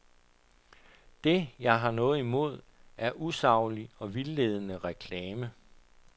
Det, jeg har noget imod, er usaglig og vildledende reklame.